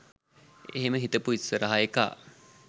එහෙම හිතපු ඉස්සරහ එකා